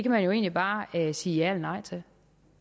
man jo egentlig bare sige ja eller nej til